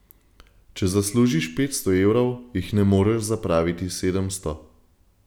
Če zaslužiš petsto evrov, jih ne moreš zapraviti sedemsto.